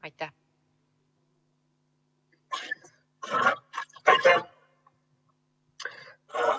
Aitäh!